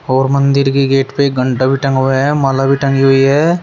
और मंदिर की गेट पे घंटा भी टंगा हुआ है माला भी टंगी हुई है।